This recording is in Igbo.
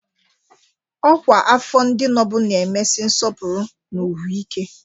Ọkwa afọ ndị nobụ na-emesi nsọpụrụ na ugwu ike.